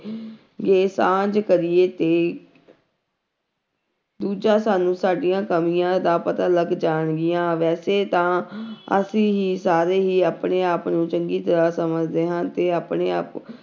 ਗੇ ਸਾਂਝ ਕਰੀਏ ਤੇ ਦੂਜਾ ਸਾਨੂੰ ਸਾਡੀਆਂ ਕਮੀਆਂ ਦਾ ਪਤਾ ਲੱਗ ਜਾਣਗੀਆਂ ਵੈਸੇ ਤਾਂ ਅਸੀਂ ਹੀ ਸਾਰੇ ਹੀ ਆਪਣੇ ਆਪ ਨੂੰ ਚੰਗੀ ਤਰ੍ਹਾਂ ਸਮਝਦੇ ਹਾਂ ਤੇ ਆਪਣੇ ਆਪ